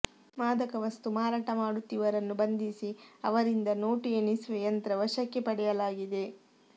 ಮಾದಕ ವಸ್ತು ಮಾರಾಟ ಮಾಡುತ್ತಿವರನ್ನು ಬಂಧಿಸಿ ಅವರಿಂದ ನೋಟು ಎಣಿಸುವ ಯಂತ್ರ ವಶಕ್ಕೆ ಪಡೆಯಲಾಗಿದೆ